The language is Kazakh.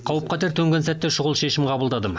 қауіп қатер төнген сәтте шұғыл шешім қабылдадым